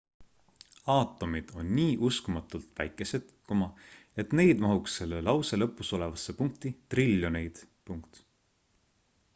aatomid on nii uskumatult väikesed et neid mahuks selle lause lõpus olevasse punkti triljoneid